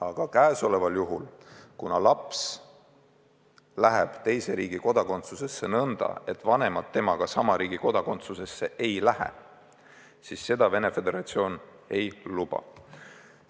Aga käesoleval juhul läheks laps teise riigi kodakondsusesse nõnda, et vanemad temaga sama riigi kodakondsusesse ei läheks, ja seda Venemaa Föderatsioon ei luba.